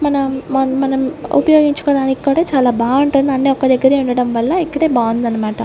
మనం మా మనం ఉపయోగించుకోవడానికి కూడా చాలా బాగుంటుంది అన్ని ఒక దగ్గరే ఉండడం వల్ల ఇక్కడే బాగుందన్నమాట.